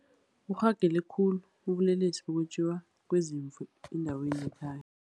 Burhagele khulu ubulelesi bokwetjiwa kweziimvu endaweni yekhaya.